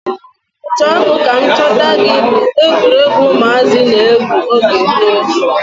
Chọọ mụ ka m chọta gị bu egwuruegwu ụmụazị na-egwu oge gboo.